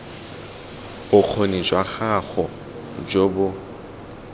bokgoni jwa gago jo bo